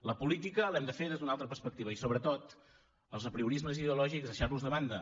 la política l’hem de fer des d’una altra perspectiva i sobretot els apriorismes ideològics deixar los de banda